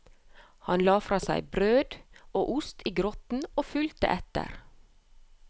Han la fra seg brød og ost i grotten og fulgte etter.